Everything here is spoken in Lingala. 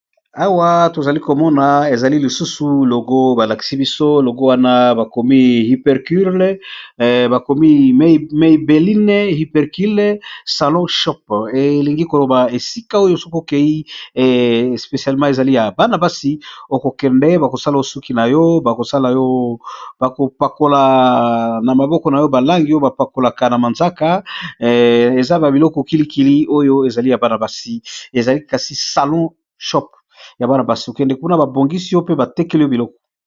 Awa tozali komona ezali lisusu logo balakisi biso logo wana bakomi hypercule bakomi mai belline hypercule salon shop elingi koloba esika oyo sokokei especialemant ezali ya bana-basi okokende bakosala osuki na yo bakopakola na maboko na yo balangi oyo bapakolaka na manzaka eza ba biloko kilikili oyo ezali ya bana basi ezali kasi salon shop ya banabasi kokende mpuna babongisi yo mpe batekeli yo biloko.